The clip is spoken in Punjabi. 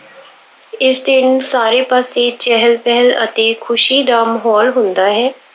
ਇਸ ਦਿਨ ਸਾਰੇ ਪਾਸੇ ਚਹਿਲ-ਪਹਿਲ ਅਤੇ ਖੁਸ਼ੀ ਦਾ ਮਾਹੌਲ ਹੁੰਦਾ ਹੈ।